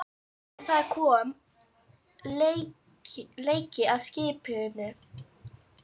En það kom leki að skipinu.